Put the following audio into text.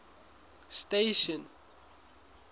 station